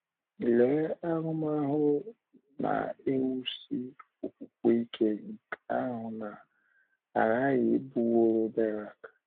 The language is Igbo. Lee ahụmahụ na - ewusi okwukwe ike nke ahụ na -- aghaghị ịbụworo Berak!